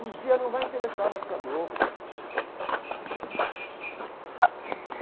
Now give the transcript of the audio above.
Um dia não vai interessar mais para a Globo, gente.